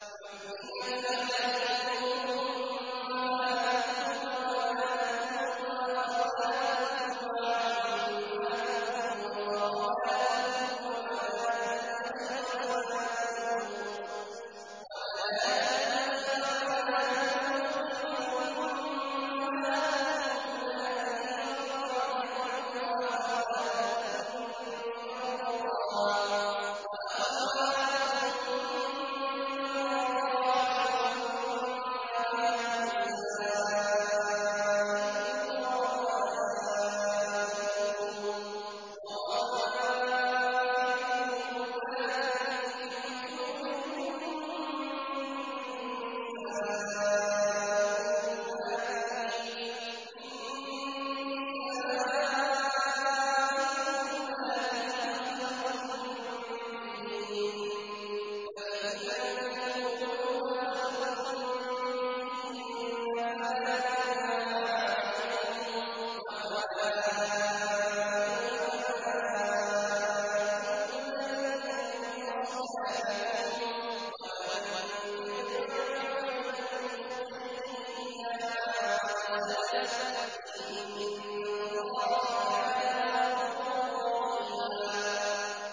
حُرِّمَتْ عَلَيْكُمْ أُمَّهَاتُكُمْ وَبَنَاتُكُمْ وَأَخَوَاتُكُمْ وَعَمَّاتُكُمْ وَخَالَاتُكُمْ وَبَنَاتُ الْأَخِ وَبَنَاتُ الْأُخْتِ وَأُمَّهَاتُكُمُ اللَّاتِي أَرْضَعْنَكُمْ وَأَخَوَاتُكُم مِّنَ الرَّضَاعَةِ وَأُمَّهَاتُ نِسَائِكُمْ وَرَبَائِبُكُمُ اللَّاتِي فِي حُجُورِكُم مِّن نِّسَائِكُمُ اللَّاتِي دَخَلْتُم بِهِنَّ فَإِن لَّمْ تَكُونُوا دَخَلْتُم بِهِنَّ فَلَا جُنَاحَ عَلَيْكُمْ وَحَلَائِلُ أَبْنَائِكُمُ الَّذِينَ مِنْ أَصْلَابِكُمْ وَأَن تَجْمَعُوا بَيْنَ الْأُخْتَيْنِ إِلَّا مَا قَدْ سَلَفَ ۗ إِنَّ اللَّهَ كَانَ غَفُورًا رَّحِيمًا